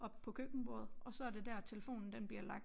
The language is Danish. Op på køkkenbordet og så er det dér at telefonen den bliver lagt